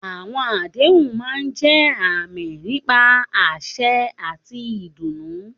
Àwọn àdéhùn máa ń jẹ́ àmì nípa àsè àti ìdùnnú.